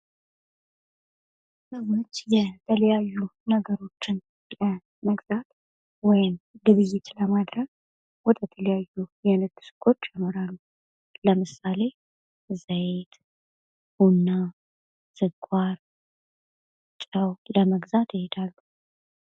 ሰዎች የተለያዩ ነገሮችን ለመግዛት ወይም ግብይት ለማድረግ ወደ ተለያዩ የንግድ ሱቆች ያመራሉ ለምሳሌ ዘይት÷ቡና፥ ስኳር፥ ጨው ለመግዛት ይሔዳሉ።